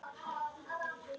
Síða brókin mín!